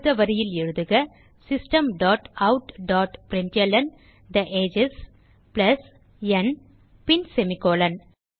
அடுத்த வரியில் எழுதுக system dot out dot println the ages plus n பின் செமிகோலன்